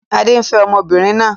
Adé ń fẹ́ ọmọbìnrin náà